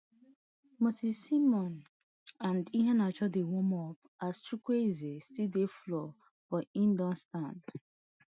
moses simon and iheanacho dey warm up as chukwueze still dey floor but e don stand